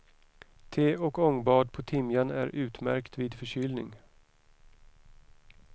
Te och ångbad på timjan är utmärkt vid förkylning.